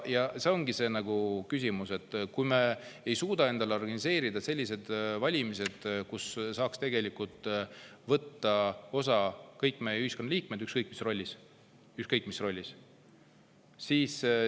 Ja see ongi probleem, et kui me ei suuda organiseerida selliseid valimisi, millest saaks tegelikult võtta osa kõik meie ühiskonna liikmed ükskõik mis rollis – ükskõik mis rollis!